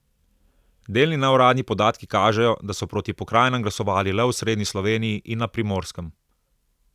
Delni neuradni podatki kažejo, da so proti pokrajinam glasovali le v osrednji Sloveniji in na Primorskem.